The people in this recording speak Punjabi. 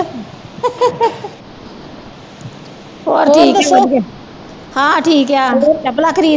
ਹੋਰ ਠੀਕ ਏ ਵਧੀਆ ਹਾਂ ਠੀਕ ਆ ਚੱਪਲਾਂ ਖਰੀਦ